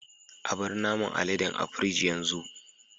Abar naman aleden a pirig yanzu.